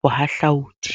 bohahlaudi.